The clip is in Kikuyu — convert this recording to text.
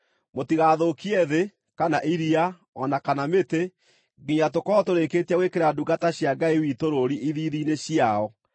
“Mũtigathũkie thĩ, kana iria, o na kana mĩtĩ, nginya tũkorwo tũrĩkĩtie gwĩkĩra ndungata cia Ngai witũ rũũri ithiithi-inĩ ciao.”